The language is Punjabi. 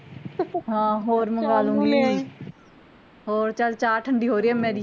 ਹਾਂ ਹੋਰ ਮੰਗਵਾ ਲੂੰਗੀ ਹੋਰ ਚਲ ਚਾਹ ਠੰਡੀ ਹੋ ਰਹੀ ਆ ਮੇਰੀ